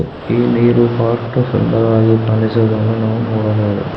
ಈ ನೀರು ಬಹಳಷ್ಟು ಸುಂದರವಾಗಿ ಕಾಣಿಸುತ್ತಿರುವುದನ್ನು ನಾವು ನೋಡಬಹುದು.